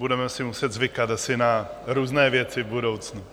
Budeme si muset zvykat asi na různé věci v budoucnu.